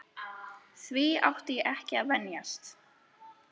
Því átti ég ekki að venjast.